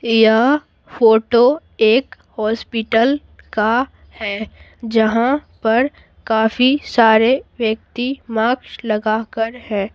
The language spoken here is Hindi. यह फोटो एक हॉस्पिटल का है जहाँ पर काफी सारे व्यक्ति मास्क लगाकर है।